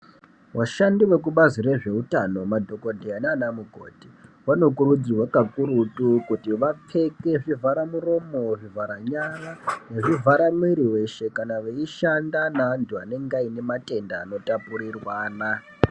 Vashandi vekubazi rezveutano madhokodheya naanamukoti vanokurudzirwa kakurutu kuti vapfeke zvivhara muromo, zvivhara nyara nezvivhara mwiri weshe kana veishanda nevanhu vane matenda anotapurirwana.